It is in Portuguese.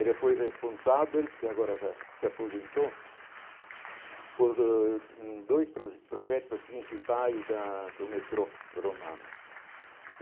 Ele foi responsável, porque agora já se aposentou, por dois hum dois projetos principais da do metrô romano.